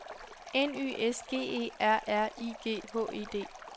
N Y S G E R R I G H E D